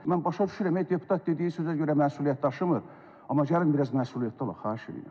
Mən başa düşürəm, deputat dediyi sözə görə məsuliyyət daşımır, amma gəlin biraz məsuliyyətli olaq, xahiş eləyirəm.